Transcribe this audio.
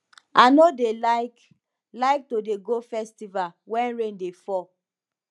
i no dey like like to dey go festival wen rain dey fall